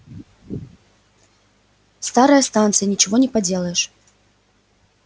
старая станция ничего не поделаешь